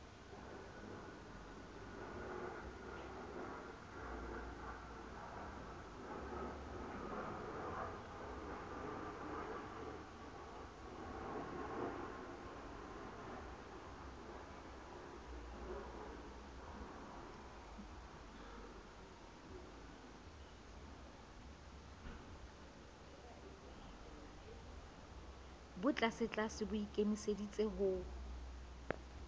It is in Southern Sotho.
bo tlasetlase bo ikemiseditse ho